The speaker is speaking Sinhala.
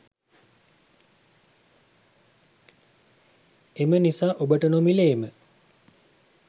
එම නිසා ඔබට නොමිලේම